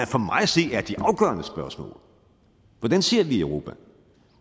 for mig at se er de afgørende spørgsmål hvordan ser vi europa